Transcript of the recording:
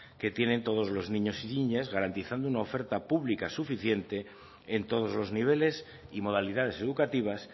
que tienen todos los niños y niñas garantizando una oferta pública suficiente en todos los niveles y modalidades educativas